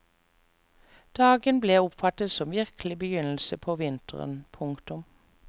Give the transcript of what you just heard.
Dagen ble oppfattet som virkelig begynnelse på vinteren. punktum